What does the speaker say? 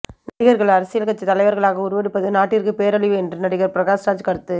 நடிகர்கள் அரசியல் கட்சித் தலைவர்களாக உருவெடுப்பது நாட்டிற்கு பேரழிவு என்று நடிகர் பிரகாஷ் ராஜ் கருத்து